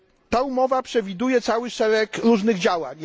Ta umowa przewiduje cały szereg różnych działań.